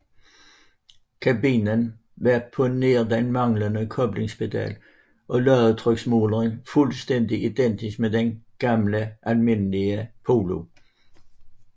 Kabinen var på nær den manglende koblingspedal og ladetryksmåleren fuldstændig identisk med den almindelige Polo